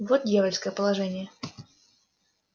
вот дьявольское положение